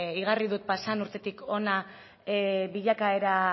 igarri dut pasadan urtetik hona bilakaera